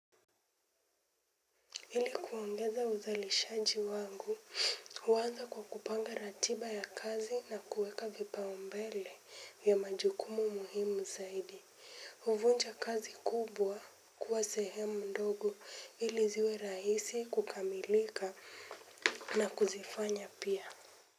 Ili kuongeza uzalishaji wangu, huanza kwa kupanga ratiba ya kazi na kueka vipaumbele ya majukumu muhimu zaidi. Huvunja kazi kubwa kuwa sehemu ndogo ili ziwe rahisi kukamilika na kuzifanya pia.